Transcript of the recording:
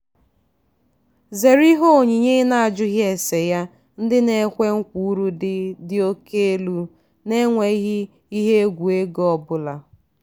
zere ihe onyinye i na-ajughi ese ya ndị na-ekwe nkwa uru dị dị oke elu na-enweghị ihe egwu ego ọbụla.